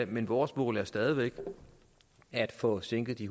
men vores mål er stadig væk at få sænket de